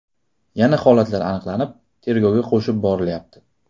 Yana holatlar aniqlanib, tergovga qo‘shib borilyapti.